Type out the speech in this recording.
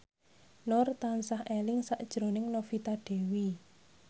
Nur tansah eling sakjroning Novita Dewi